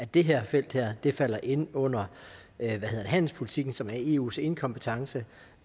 det her felt falder ind under handelspolitikken som er eus enekompetence